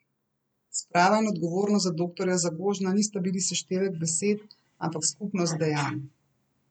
Sprava in odgovornost za doktorja Zagožna nista bili seštevek besed, ampak skupnost dejanj.